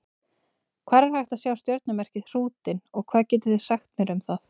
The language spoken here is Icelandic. Hvar er hægt að sjá stjörnumerkið Hrútinn og hvað getið þið sagt mér um það?